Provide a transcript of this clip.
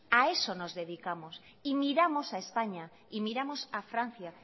a eso nos dedicamos y miramos a españa y miramos a francia